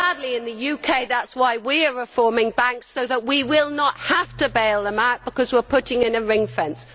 In the UK that is why we are reforming banks, so that we will not have to bail them out, because we are putting in a ring fence.